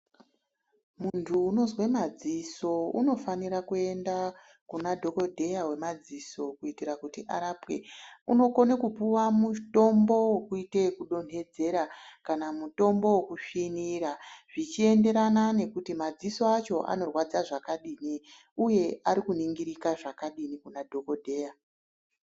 Muntu unozwe madziso unofanira kuenda Kuna dhokodheya wemadzoso kuitira kuti arapwe unokone kupuwa mutombo wekuite ekudonhedzera kana mutombo wokusvinira zvichiendera nekuti madziso acho anorwadza zvakadini uye arikuningirika zvakadini Kuna dhokodheya.